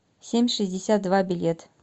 семь шестьдесят два билет